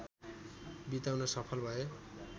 बिताउन सफल भए